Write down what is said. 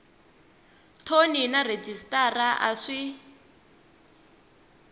thoni na rhejisitara a swi